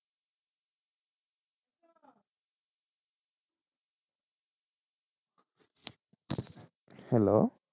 Hello?